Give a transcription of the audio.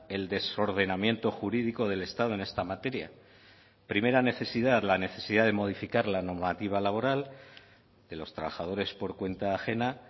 el desordenamiento jurídico del estado en esta materia primera necesidad la necesidad de modificar la normativa laboral de los trabajadores por cuenta ajena